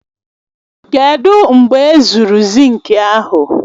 Kedụ u mgbe ezuru zinki ahụ?